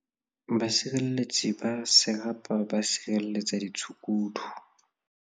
Basireletsi ba Serapa ba sireletsa ditshukudu